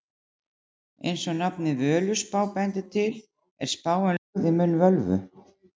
Eins og nafnið Völuspá bendir til er spáin lögð í munn völvu.